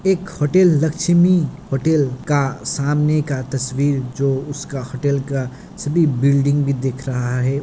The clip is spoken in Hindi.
एक होटल लक्ष्मी होटल का सामने का तस्वीर जो उसका होटेल का सटी बिल्डिंग भी दिख रहा है।